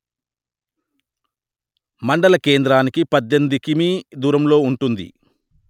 మండల కేంద్రానికి పధ్ధెనిమిది కిమీ దూరంలో ఉంటుంది